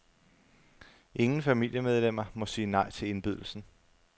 Ingen familiemedlemmer må sige nej til indbydelsen.